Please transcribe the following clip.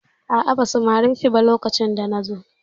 A'a, ba su mare shi ba lokacin da na zo.